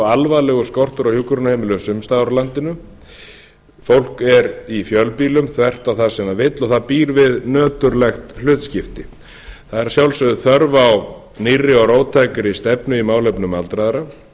alvarlegur skortur á hjúkrunarheimilum sums staðar á landinu fólk er í fjölbýlum þvert á það sem það vill og það býr við nöturlegt hlutskipti það er að sjálfsögðu þörf á nýrri og róttækri stefnu í málefnum aldraðra